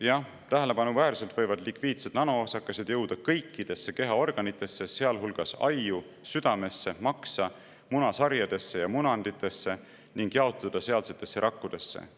Jah, tähelepanuväärselt võivad lipiidsed nanoosakesed jõuda kõikidesse kehaorganitesse, sealhulgas ajju, südamesse, maksa, munasarjadesse ja munanditesse, ning jaotuda sealsetesse rakkudesse.